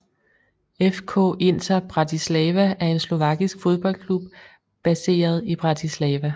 FK Inter Bratislava er en slovakisk fodboldklub baseret i Bratislava